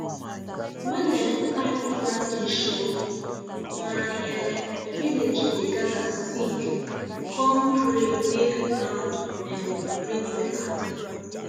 when um time for planting show my um village dey gather sing com pray make ground um bring better